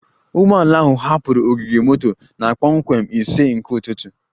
Ụgbọ ala ahụ hapụrụ ogige moto na kpọmkwem ise nke ụtụtụ